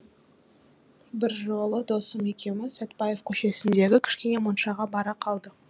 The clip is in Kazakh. бір жолы досым екеуміз сәтбаев көшесіндегі кішкене моншаға бара қалдық